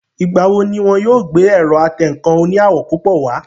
Ìgbà wo ni wọn yóò gbé ẹ̀rọ atẹǹkan oní àwọ̀ púpọ̀ wá?